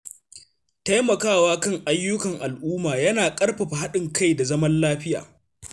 Taimakawa kan ayyukan al’umma yana ƙarfafa haɗin kai da zaman lafiya.